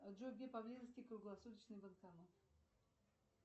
джой где поблизости круглосуточный банкомат